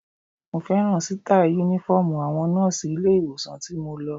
Mo fẹ́ràn sítáì Únífọ́ọ̀mù àwọn nọ́ọ̀sì ilé-ìwòsàn tí mo lọ